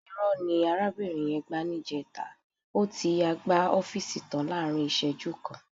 Ìrọ́ ni arábìnrin yẹn gbá níjẹta. Ó ti yáa gbá ọ́fíìsì tàn án láàrín ìṣẹ́jú kan.